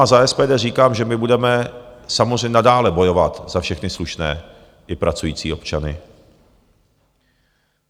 A za SPD říkám, že my budeme samozřejmě nadále bojovat za všechny slušné i pracující občany.